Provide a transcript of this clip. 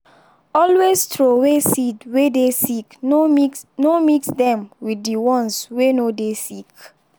always throway seed way dey sick no mix no mix dem with the ones way no dey sick